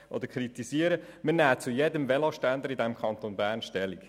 Wir nehmen zu jedem Veloständer im Kanton Bern Stellung.